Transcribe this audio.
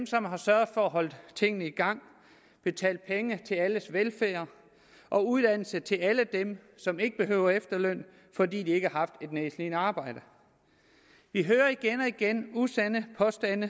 som har sørget for at holde tingene i gang betalt penge til alles velfærd og uddannelse til alle dem som ikke behøver efterløn fordi de ikke har haft et nedslidende arbejde vi hører igen og igen usande påstande